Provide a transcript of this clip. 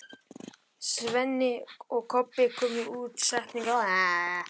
Svenni og Kobbi komu út á stéttina fyrir framan húsið.